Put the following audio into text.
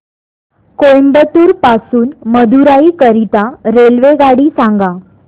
कोइंबतूर पासून मदुराई करीता रेल्वेगाडी सांगा